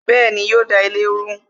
Bẹẹni, yo da ilé rú